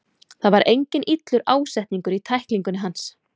Það var enginn illur ásetningur í tæklingunni hans.